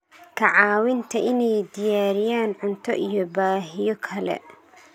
ka caawinta inay diyaariyaan cunto iyo baahiyo kale.